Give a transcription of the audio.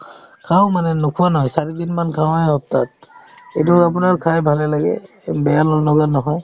খাওঁ মানে নোখোৱা নহয় চাৰিদিন মান খাওঁয়ে সপ্তাহত এইটো আপোনাৰ খায়ে ভালে লাগে এই বেয়া নলগা নহয়